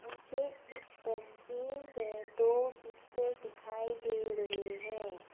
मुझे इस तस्वीर में दो बिस्तर दिखाई दे रहे हैं।